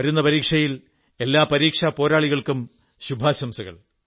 വരുന്ന പരീക്ഷയിൽ എല്ലാ പരീക്ഷാ പോരാളികൾക്കും ശുഭാശംസകൾ